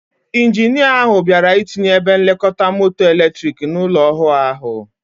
Ijinia ahụ bịara ịtinye ebe nlekọta moto eletrik n'ụlọ ọhụụ ahụ.